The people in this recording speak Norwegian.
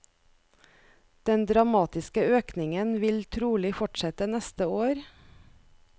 Den dramatiske økningen vil trolig fortsette neste år.